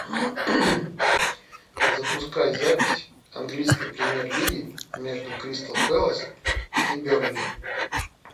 запускай запись английской премьер лиги между кристал пэлас и бернли